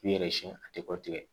K'i yɛrɛ siɲɛ a tɛ kɔtigɛ